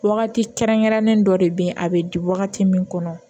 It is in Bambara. Wagati kɛrɛnkɛrɛnnen dɔ de bɛ yen a bɛ di wagati min kɔnɔ